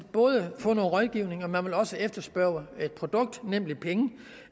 få noget rådgivning og man vil også efterspørge et produkt nemlig penge